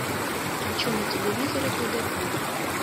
хочу на телевизоре тдк